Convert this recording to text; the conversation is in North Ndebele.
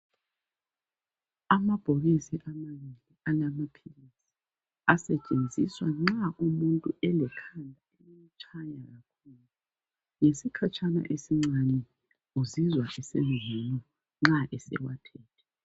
Amabhokisi amanengi alamaphilizi asetshenziswa nxa umuntu elekhanda elimtshayayo , ngesikhatshana esincane uzizwa sengcono nxa esewathethe